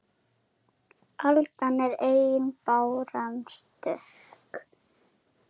Aldan er ein báran stök